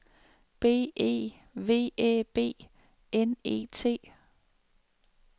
B E V Æ B N E T